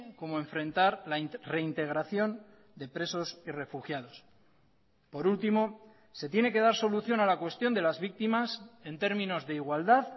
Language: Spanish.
como enfrentar la reintegración de presos y refugiados por último se tiene que dar solución a la cuestión de las víctimas en términos de igualdad